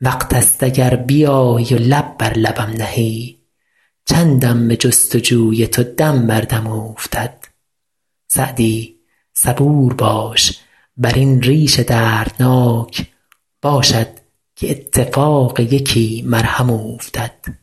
وقت ست اگر بیایی و لب بر لبم نهی چندم به جست و جوی تو دم بر دم اوفتد سعدی صبور باش بر این ریش دردناک باشد که اتفاق یکی مرهم اوفتد